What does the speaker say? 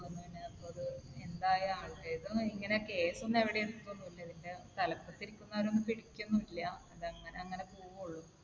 എന്തായി ഏതായാലും case ഒന്നും എവിടെയും എത്തുകയൊന്നുമില്ല. ഇതിന്റെ തലപ്പത്ത് ഇരിക്കുന്നവരെയൊന്നും പിടിക്കൊന്നുമില്ല. അത് അങ്ങനെ അങ്ങനെ പോവോള്ളു.